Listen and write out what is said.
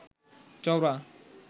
চওড়া